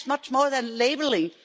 That's much more than labelling.